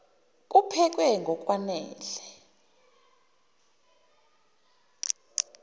kuphekwe ngok wanele